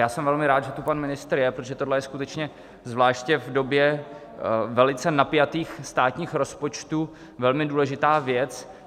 Já jsem velmi rád, že tu pan ministr je, protože tohle je skutečně, zvláště v době velice napjatých státních rozpočtů, velmi důležitá věc.